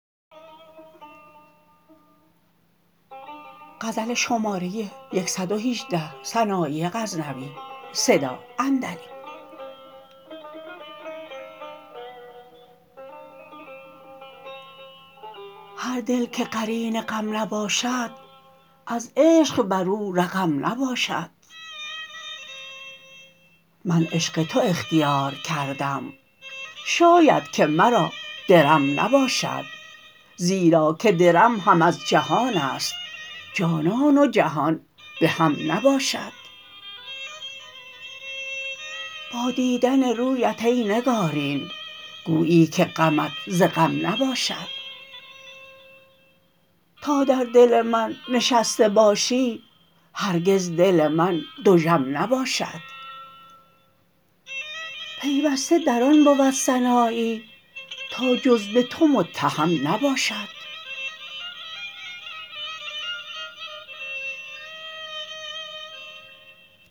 هر دل که قرین غم نباشد از عشق بر او رقم نباشد من عشق تو اختیار کردم شاید که مرا درم نباشد زیرا که درم هم از جهانست جانان و جهان بهم نباشد با دیدن رویت ای نگارین گویی که غمت ز غم نباشد تا در دل من نشسته باشی هرگز دل من دژم نباشد پیوسته در آن بود سنایی تا جز به تو متهم نباشد